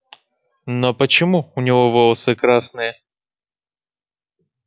но почему у него волосы красные